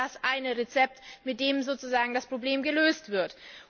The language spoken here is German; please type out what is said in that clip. Es gibt nicht das eine Rezept, mit dem sozusagen das Problem gelöst wird.